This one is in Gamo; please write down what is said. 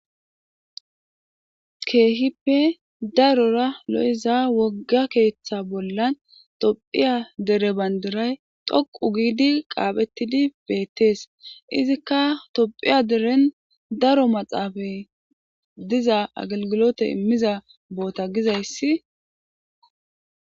"Keehipe darora lo'iza wogga keetha bollan Thopia dere bandiray dhoqqu giidi qaaphetidi betees izikka Thopia deren daro maxaafe diza agelgilote immiza boota gizayssi."